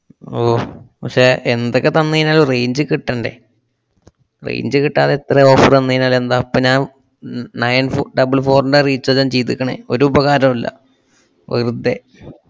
അള്ളോ, പക്ഷെ എന്തൊക്കെ തന്നുകയിഞ്ഞാലും range കിട്ടണ്ടേ? Range കിട്ടാതെ എത്ര offer തന്നുകയിഞ്ഞാലെന്താ? ഇപ്പൊ ഞാൻ ഞ~ nine fo~ double four ന്‍റെ recharge ആ ഞാന്‍ ചെയ്തേക്കണെ, ഒരുപകാരോമില്ല, വെറുതേ.